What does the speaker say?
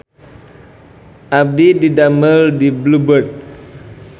Abdi didamel di Blue Bird